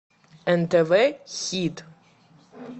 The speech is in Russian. нтв хит